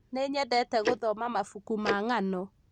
nĩnyendete gũthoma mabuku ma ng'ano